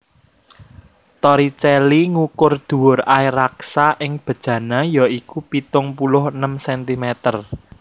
Torricelli ngukur dhuwur air raksa ing bejana ya iku pitung puluh enem centimeter